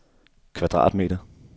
kvadratmeter